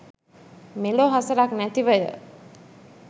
මෙලෝ හසරක් නැතිවය.